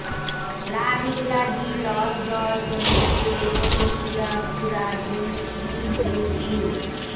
লা রিগলা ডি লস ডস এনিস ডে পোর্টেনসিয়া ফ্যুরা ডি ইইউইউ